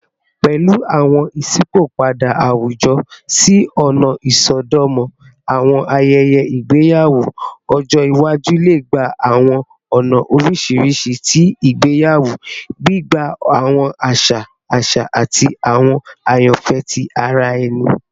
Pẹlu awọn iṣipopada awujọ si ọna isọdọmọ, awọn ayẹyẹ igbeyawo ọjọ iwaju le gba awọn ọna oriṣiriṣi ti igbeyawo, gbigba awọn aṣa aṣa ati awọn ayanfẹ ti ara ẹni.